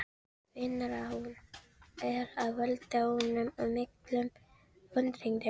Finnur að hún er að valda honum miklum vonbrigðum.